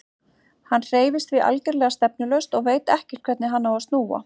Hann hreyfist því algerlega stefnulaust og veit ekkert hvernig hann á að snúa.